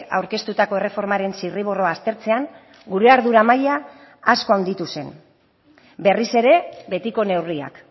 aurkeztutako erreformaren zirriborroa aztertzean gure ardura maila asko handitu zen berriz ere betiko neurriak